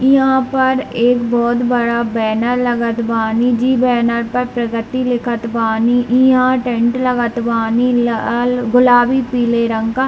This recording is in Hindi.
इ यहां पर एक बहुत बड़ा बैनर लगत बानी जे बैनर पर प्रगति लिखत बानी इ यहां टेंट लगत बानी लाल गुलाबी पीले रंग।